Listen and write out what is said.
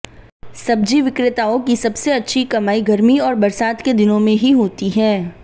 सब्जी विक्रेताओं की सबसे अच्छी कमाई गर्मी और बरसात के दिनों में ही होती है